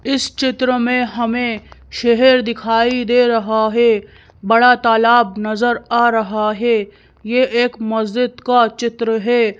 इस चित्र में हमें शहर दिखाई दे रहा है। बड़ा तालाब नजर आ रहा है। ये एक मस्जिद का चित्र है।